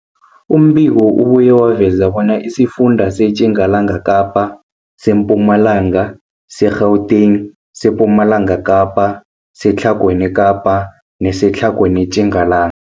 Umbiko ubuye waveza bona isifunda seTjingalanga Kapa, seMpumalanga, seGauteng, sePumalanga Kapa, seTlhagwini Kapa neseTlhagwini Tjingala